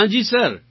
હા જી સર